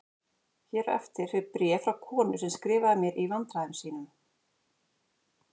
Hér á eftir fer bréf frá konu sem skrifaði mér í vandræðum sínum